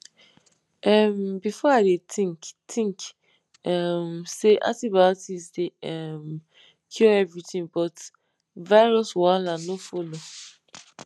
um before i dey think think um say antibiotics dey um cure everything but virus wahala no follow